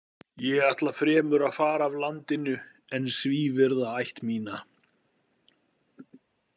Ég ætla fremur að fara af landinu en svívirða ætt mína.